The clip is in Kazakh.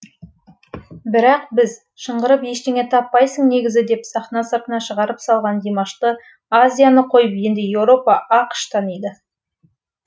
бірақ біз шыңғырып ештеңе таппайсың негізі деп сахна сыртына шығарып салған димашты азияны қойып енді еуропа ақш таниды